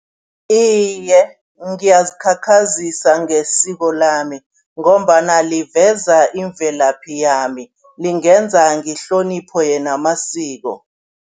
Iye, ngiyazikhakhazisa ngesiko lami ngombana liviza imvelaphi yami, lingenza ngehloniphe namasiko.